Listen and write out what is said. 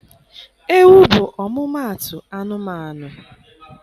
Ewu bụ ọmụmaatụ anụmanụ.